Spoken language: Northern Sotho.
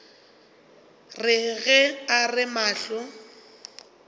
re ge a re mahlo